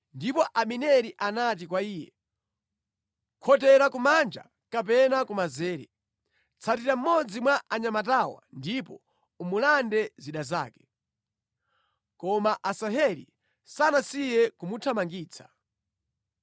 Ndipo Abineri anati kwa iye, “Khotera kumanja kapena kumanzere: tsatira mmodzi mwa anyamatawa ndipo umulande zida zake.” Koma Asaheli sanasiye kumuthamangitsa.